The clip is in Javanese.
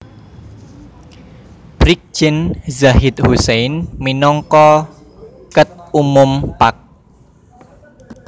Brigjen Zahid Husein minangka Ket Umum Pag